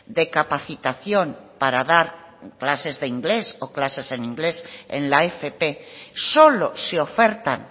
de capacitación para dar clases de inglés o clases en inglés en la fp solo se ofertan